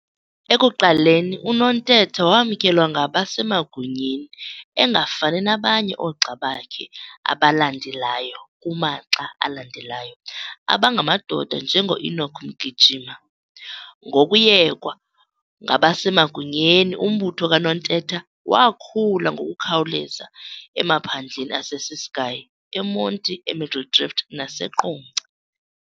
Ekuqaleni uNontetha wamkelwa ngabasemagunyeni engafani nabanye oogxa bakhe abalandelayo kumaxa alandelayo abangamadoda nje ngoEnoch Mgijima. Ngoku yekwa ngabasemagunyeni umbutho kaNontetha wakhula ngokukhawuleza emaphandleni aseCiskei, eMonti eMiddledrift , naseQonce .